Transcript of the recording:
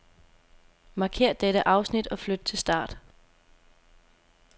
Markér dette afsnit og flyt til start.